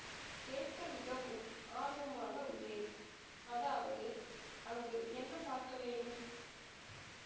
கேட்க மிகவும் ஆர்வமாக உள்ளேன் அதாவது அங்கு என்ன பார்க்க வேண்டும்